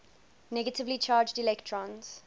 negatively charged electrons